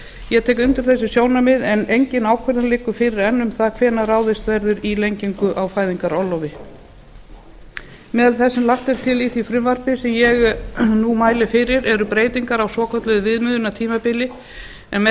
tek undir þessi sjónarmið en engin ákvörðun liggur fyrir enn um það hvenær ráðist verður í lengingu á fæðingarorlofi meðal þess sem lagt er til í því frumvarpi sem ég nú mæli fyrir eru breytingar á svokölluðu viðmiðunartímabili en með því